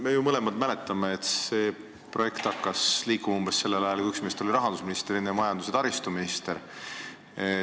Me ju mõlemad mäletame, et see projekt hakkas liikuma umbes sellel ajal, kui üks meist oli rahandusminister, teine majandus- ja taristuminister.